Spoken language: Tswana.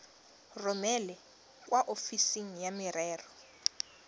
romele kwa ofising ya merero